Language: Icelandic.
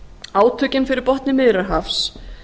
átökin fyrir botni miðjarðarhafs